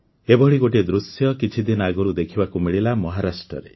ଏଭଳି ଗୋଟିଏ ଦୃଶ୍ୟ କିଛି ଦିନ ଆଗରୁ ଦେଖିବାକୁ ମିଳିଲା ମହାରାଷ୍ଟ୍ରରେ